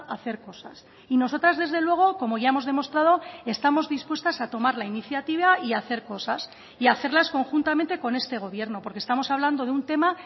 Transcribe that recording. hacer cosas y nosotras desde luego como ya hemos demostrado estamos dispuestas a tomar la iniciativa y a hacer cosas y hacerlas conjuntamente con este gobierno porque estamos hablando de un tema